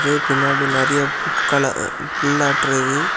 இது பின்னாடி நெறியா புட்கல புள்ளாட்டோ இருக்குது.